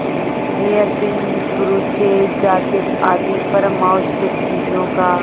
hairpin brooches jacket आदि परमावश्यक चीजों का